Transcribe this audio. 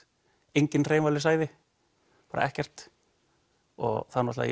engin hreyfanleg sæði bara ekkert og það